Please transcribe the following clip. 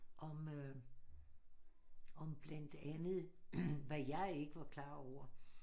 Om øh om blandt andet hvad jeg ikke var klar over